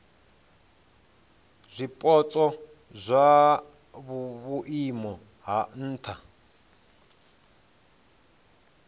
zwipotso zwa vhuimo ha nha